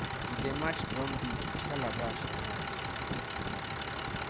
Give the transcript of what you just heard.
e dey match drum beat with calabash for hand